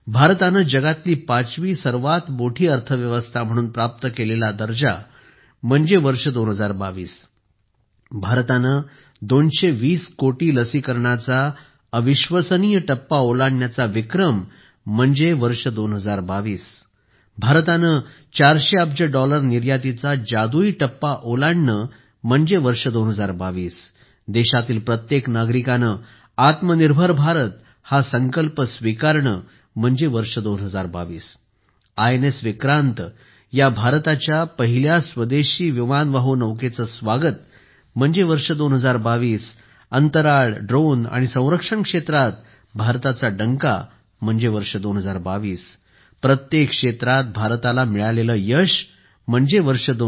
भारताने जगातली पाचवी सर्वात मोठी अर्थव्यवस्था म्हणून प्राप्त केलेला दर्जा म्हणजे वर्ष 2022 भारताने 220 कोटी लसीकरणाचा अविश्वसनीय टप्पा ओलांडण्याचा विक्रम म्हणजे वर्ष 2022 भारताने 400 अब्ज डॉलर निर्यातीचा जादुई टप्पा ओलांडणे म्हणजे वर्ष 2022 देशातील प्रत्येक नागरिकाने आत्मनिर्भर भारत हा संकल्प स्वीकारणे म्हणजे वर्ष 2022 आयएनएस विक्रांत या भारताच्या पहिल्या स्वदेशी विमानवाहू नौकेचे स्वागत म्हणजे वर्ष 2022 अंतराळ ड्रोन आणि संरक्षण क्षेत्रात भारताचा डंका म्हणजे वर्ष 2022 प्रत्येक क्षेत्रात भारताला मिळालेले यश म्हणजे वर्ष 2022